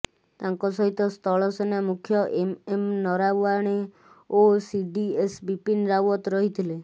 ତାଙ୍କ ସହିତ ସ୍ଥଳସେନା ମୁଖ୍ୟ ଏମଏମ ନରାଓ୍ୱଣେ ଓ ସିଡ଼ିଏସ ବିପିନ ରାଓ୍ୱତ ରହିଥିଲେ